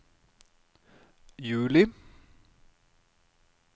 juli